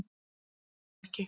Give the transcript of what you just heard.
Ég hló ekki